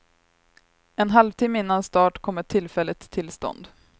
En halvtimme innan start kom ett tillfälligt tillstånd.